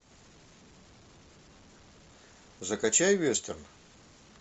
закачай вестерн